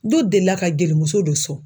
De delila ka gelimuso don sɔrɔ.